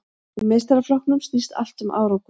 Í meistaraflokkum snýst allt um árangur.